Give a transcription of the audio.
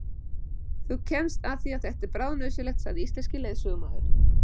Þú kemst að því að þetta er bráðnauðsynlegt, sagði íslenski leiðsögumaðurinn.